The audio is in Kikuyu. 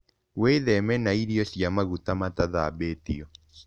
Wĩtheme na irio cia magũta matathambĩtĩo